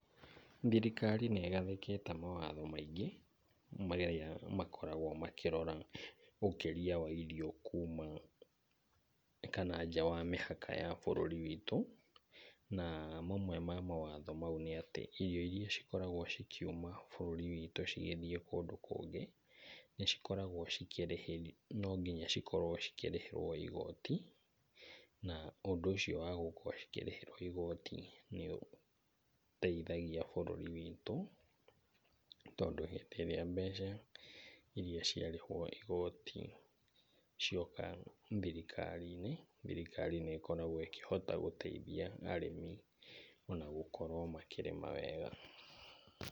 Thirikari nĩ ĩgathĩkĩte mawatho maingĩ marĩa makoragwo makĩrora ũkĩria wa irio kuuma kana nja wa mĩhaka wa bũrũri witũ. Na mamwe ma mawatho macio nĩ atĩ irĩo irĩa cikoragwo cikiuma bũrũri witũ cigĩthiĩ kũndũ kũngĩ, nĩ cikoragwo cikĩrĩhĩrwo no nginya cirĩhĩrwo igooti. Na ũndũ ũcio wa kũrĩhĩrwo igooti nĩ ũteithagia bũrũri witũ tondũ hĩndĩ ĩrĩa mbeca irĩa ciarĩhwo igooti cioka thirikari-inĩ, thirikari nĩ ĩkoragwo ĩkĩhota gũteithia arĩmi na gũkorwo makĩrĩma wega.